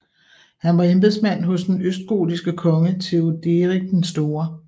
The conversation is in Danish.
Han var embedsmand hos den østgotiske konge Theoderik den store